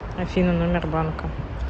афина номер банка